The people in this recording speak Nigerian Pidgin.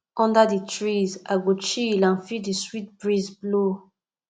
under di trees i go chill and feel di sweet breeze blow